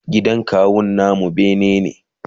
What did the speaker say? gidan kawun namu bene ne